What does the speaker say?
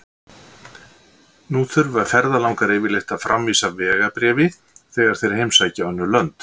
Nú þurfa ferðalangar yfirleitt að framvísa vegabréfi þegar þeir heimsækja önnur lönd.